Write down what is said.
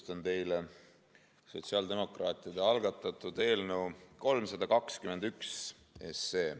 Tutvustan teile sotsiaaldemokraatide algatatud eelnõu 321.